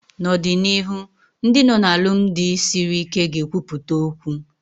N'ọdịnihu Ndị nọ na alụmdi sịrị ike ga ekwupụta okwu